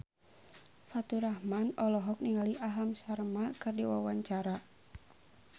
Faturrahman olohok ningali Aham Sharma keur diwawancara